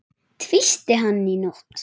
Tísti hann í nótt?